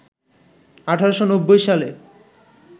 ১৮৯০ সালে